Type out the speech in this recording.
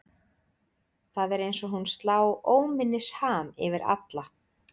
Það er eins og hún slá óminnisham yfir alla.